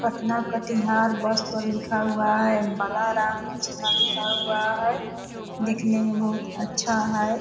पटना को कटिहार बस पर लिखा हुआ है बलाराम कृष्णा लिखा हुआ है दिखने में बहुत अच्छा है।